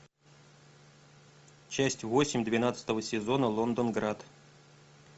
часть восемь двенадцатого сезона лондонград